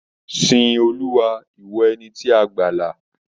Sìn Olúwa, ìwọ ẹni tí a gbàlà.